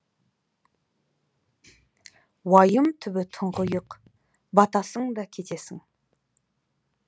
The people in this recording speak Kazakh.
уайым түбі тұңғиық батасың да кетесің